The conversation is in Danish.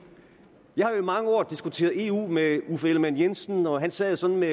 jeg har jo i mange år diskuteret eu med uffe ellemann jensen og han sad sådan med